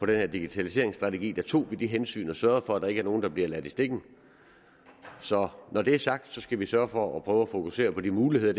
den her digitaliseringsstrategi tog vi det hensyn og sørgede for at der ikke var nogen der blev ladt i stikken så når det er sagt skal vi sørge for at prøve at fokusere på de muligheder